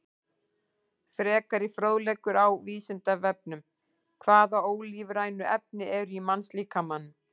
Frekari fróðleikur á Vísindavefnum: Hvaða ólífrænu efni eru í mannslíkamanum?